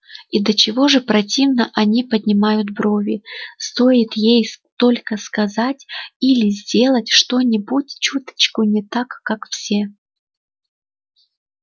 и до чего же противно они поднимают брови стоит ей только сказать или сделать что-нибудь чуточку не так как все